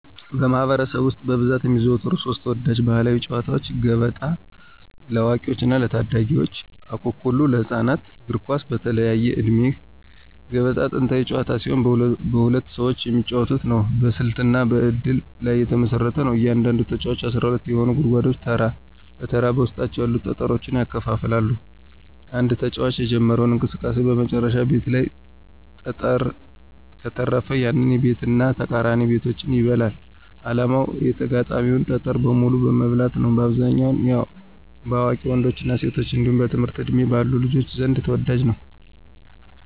በማኅበረሰብ ውስጥ በብዛት የሚዘወተሩ ሦስት ተወዳጅ ባሕላዊ ጨዋታዎች፦ ገበጣ (ለአዋቂዎችና ለታዳጊዎች) ፣አኩኩሉ (ለህፃናት)፣ እግር ኳስ (በተለያየ ዕድሜ)። ገበጣ ጥንታዊ ጨዋታ ሲሆን በሁለት ሰዎች የሚጫወት ነው። በስልትና በእድል ላይ የተመሰረተ ነው። እያንዳንዱ ተጫዋች 12 የሆኑትን ጉድጓዶች ተራ በተራ በውስጣቸው ያሉትን ጠጠሮች ያከፋፍላል። አንድ ተጫዋች የጀመረው እንቅስቃሴ በመጨረሻው ቤት ላይ ጠጠር ከተረፈ፣ ያንን ቤትና ተቃራኒ ቤቶችን ይበላል። ዓላማው የተጋጣሚን ጠጠር በሙሉ መብላት ነው። በአብዛኛው በአዋቂ ወንዶችና ሴቶች እንዲሁም በትምህርት ዕድሜ ባሉ ልጆች ዘንድ ተወዳጅ ነው።